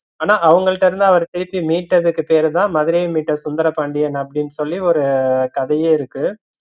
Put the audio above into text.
ஆனா, அவுங்கள்ட்ட அவரு திருப்பி மீட்டதுக்கு பேரு தான் மதுரைய மீட்ட சுந்தராண்டியன் அப்படின்னு சொல்லி ஒரு கதையே இருக்கு